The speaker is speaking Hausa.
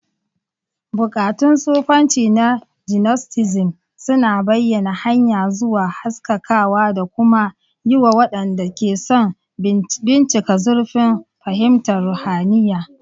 Buƙatun sufanci na Gnosticism suna bayyana hanya zuwa haskakawa da kuma yiwa waɗanda ke son bincika zurfin fahimtar ruhaniya.